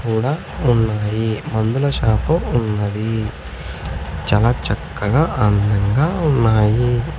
కూడా ఉన్నాయి మందుల షాపు ఉన్నది చాలా చక్కగా అందంగా ఉన్నాయి.